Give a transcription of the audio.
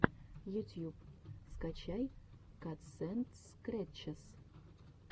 ютьюб скачай катсэндскрэтчес